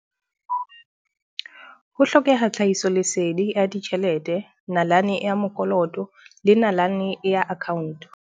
Ho hlokeha tlhahiso lesedi ya ditjhelete, nalane ya mokoloto le nalane ya account.